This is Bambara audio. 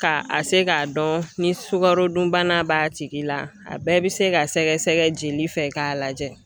K'a a se k'a dɔn ni sukarodunbana b'a tigi la, a bɛɛ bɛ se ka sɛgɛsɛgɛ jeli fɛ k'a lagɛ